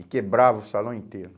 E quebrava o salão inteiro.